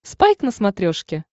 спайк на смотрешке